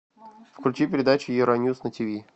включи передачу евроньюс на тв